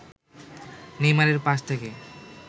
নেইমারের পাস থেকে